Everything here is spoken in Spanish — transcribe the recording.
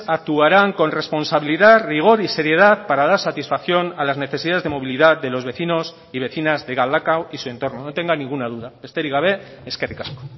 actuarán con responsabilidad rigor y seriedad para dar satisfacción a las necesidades de movilidad de los vecinos y vecinas de galdakao y su entorno no tenga ninguna duda besterik gabe eskerrik asko